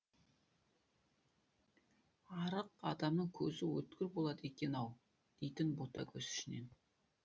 арық адамның көзі өткір болады екен ау дейтін ботагөз ішінен